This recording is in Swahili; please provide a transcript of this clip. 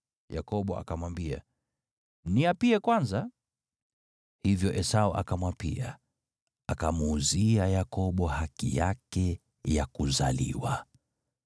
Yakobo akamwambia, “Niapie kwanza.” Hivyo Esau akamwapia, akamuuzia Yakobo haki yake ya kuzaliwa.